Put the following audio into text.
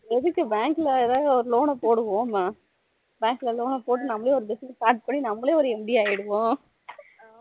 எதுக்கு bank ல ஏதாவது ஒரு loan போடுவோம்மா bank loan போட்டு நம்மலே ஒரு business start பண்ணி நம்மலே ஒரு MD ஆகிறுவோம்